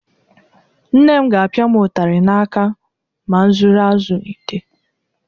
Nne m ga-apịa m ụtarị n'aka ma zuru azụ n'ite.